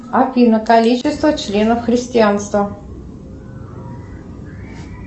афина количество членов христианства